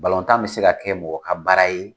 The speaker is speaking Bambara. Balontan bɛ se ka kɛ mɔgɔ ka baara ye!